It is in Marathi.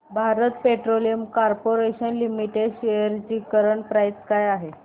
Bharat petroleum corporation limited shares ची करंट प्राइस काय आहे